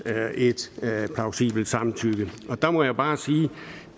et plausibelt samtykke og der må jeg bare sige at